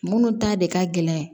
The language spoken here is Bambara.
Munnu ta de ka gɛlɛn